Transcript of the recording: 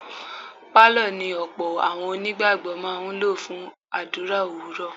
Pálọ̀ ni ọ̀pọ̀ àwọn onígbàgbọ́ máa ń lò fún àdúrà òwúrọ̀.